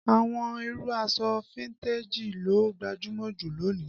Àwọn irú aṣọ fíntèjì ló gbajúmọ̀ ju lónìí